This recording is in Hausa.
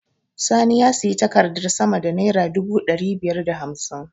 Sani ya sayi taraktar sama da naira dubu ɗari biyar da hamsin.